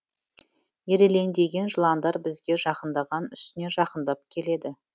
ирелеңдеген жыландар бізге жақындаған үстіне жақындап келеді